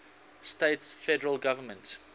states federal government